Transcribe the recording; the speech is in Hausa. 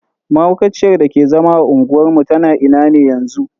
Mahaukaciyar dake zama a unguwar mu tana ina ne yanzu?